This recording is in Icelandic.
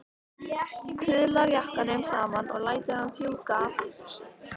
Kuðlar jakkanum saman og lætur hann fjúka aftur fyrir sig.